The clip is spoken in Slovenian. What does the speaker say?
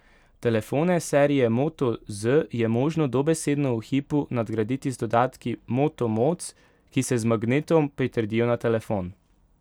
Telefone serije Moto Z je možno dobesedno v hipu nadgraditi z dodatki Moto Mods, ki se z magnetom pritrdijo na telefon.